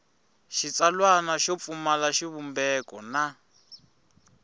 xitsalwana xo pfumala xivumbeko na